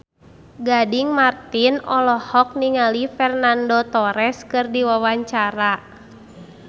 Gading Marten olohok ningali Fernando Torres keur diwawancara